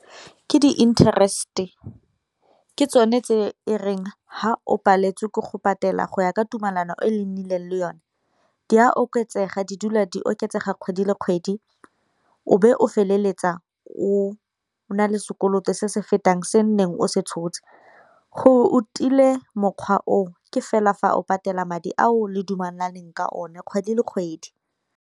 Ke di-interest-e, ke tsone tse e reng fa o paletswe ke go patela go ya ka tumalano e le nnileng le yone di a oketsega di dula di oketsega kgwedi le kgwedi, o be o feleletsa o na le sekoloto se se fetang se nneng o se tshotse. Gore o tile mokgwa o o, ke fela fa o patela madi ao le dumalaneng ka one kgwedi le kgwedi.